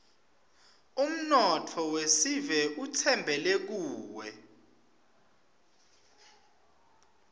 umnotfo wesive utsembele kuwe